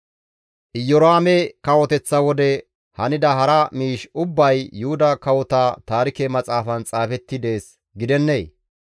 Iyoraame kawoteththa wode hanida hara miish ubbay Yuhuda Kawota Taarike Maxaafan xaafetti dees gidennee?